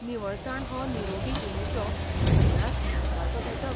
निवळसाण हो निरोगी जीणेचो सगळ्यांत म्हत्वाचो घटक.